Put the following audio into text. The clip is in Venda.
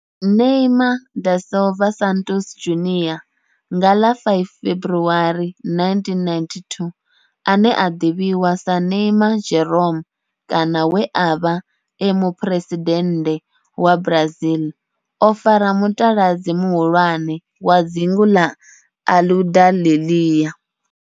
Neymar da Silva Santos Junior, nga ḽa 5 February 1992, ane a ḓivhiwa sa Ne'ymar' Jeromme kana we a vha e muphuresidennde wa Brazil o fara mutaladzi muhulwane wa dzingu la Aludalelia.